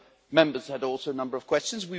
Other Members had also a number of questions.